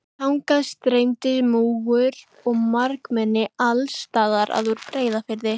Þangað streymdi múgur og margmenni alls staðar að úr Breiðafirði.